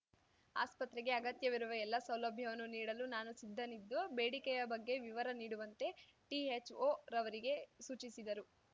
ಆಸ್ಪತ್ರೆಗೆ ಅಗತ್ಯವಿರುವ ಎಲ್ಲ ಸೌಲಭ್ಯವನ್ನು ನೀಡಲು ನಾನು ಸಿದ್ಧನಿದ್ದು ಬೇಡಿಕೆಯ ಬಗ್ಗೆ ವಿವರ ನೀಡುವಂತೆ ಟಿಹೆಚ್ಓ ರವರಿಗೆ ಸೂಚಿಸಿದರು